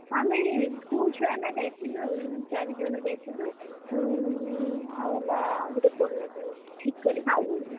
ଆମେ school ଛୁଆ ନା ଯାଇଥିଲୁ ଚାରି ଜଣ ଯାଇଥିଲୁ ଆଉ ହେଲା ଗୋଟେ Bolero ରେ ଠିକ କରି ଯାଇଥିଲୁ